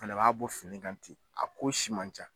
Fɛnɛ b'a bɔ fini kan ten, a ko si man ca